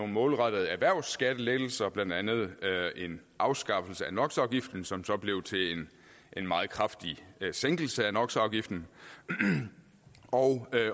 målrettede erhvervsskattelettelser blandt andet afskaffelse af nox afgiften som så blev en meget kraftig sænkelse af nox afgiften og